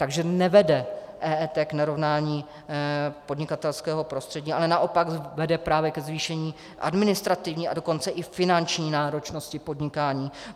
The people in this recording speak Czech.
Takže nevede EET k narovnání podnikatelského prostředí, ale naopak vede právě ke zvýšení administrativní, a dokonce i finanční náročnosti podnikání.